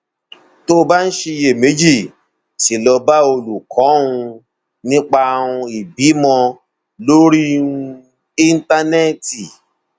tó o bá ń ṣiyèméjì sí i lọ bá olùkọ um nípa um ìbímọ lórí um íńtánẹẹtì